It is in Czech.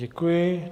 Děkuji.